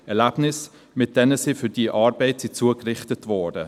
Erlebnisse, mit denen sie für diese Arbeit zugerichtet wurden.